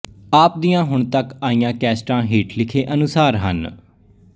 ਆਪ ਦੀਆਂ ਹੁਣ ਤੱਕ ਆਈਆਂ ਕੈਸਟਾਂ ਹੇਠ ਲਿਖੇ ਅਨੁਸਾਰ ਹਨ